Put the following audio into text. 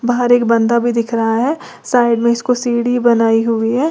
बाहर एक बंदा भी दिख रहा है साइड में इसको सीढ़ी बनाई हुई है।